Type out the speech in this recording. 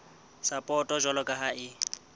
sapoto jwalo ka ha e